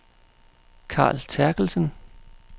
Carl Terkelsen